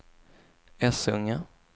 Essunga